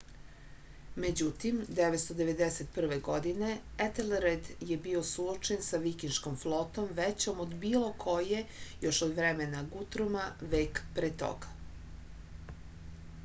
međutim 991. godine etelred je bio suočen sa vikinškom flotom većom od bilo koje još od vremena gutruma vek pre toga